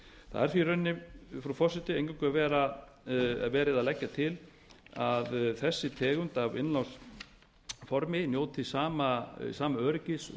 er því í rauninni frú forseti eingöngu verið að leggja til að þessi tegund af innlánsformi njóti sama öryggis og